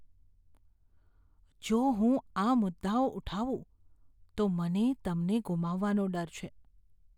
જો હું આ મુદ્દાઓ ઉઠાવું તો મને તમને ગુમાવવાનો ડર છે.